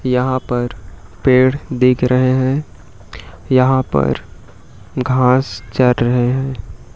यहां पर पेड़ देख रहे हैं यहां पर घास चर रहे हैं।